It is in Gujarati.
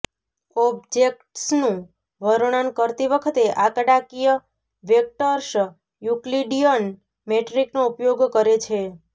ઑબ્જેક્ટ્સનું વર્ણન કરતી વખતે આંકડાકીય વેક્ટર્સ યુક્લિડીઅન મેટ્રિકનો ઉપયોગ કરે છે